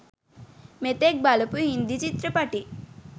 මෙතෙක් බලපු හින්දි චිත්‍රපටි